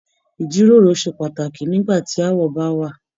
Ijiroro ṣe pàtàkì nígbà tí aawọ bá wà.